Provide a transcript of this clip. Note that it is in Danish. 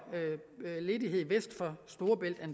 ledighed øst for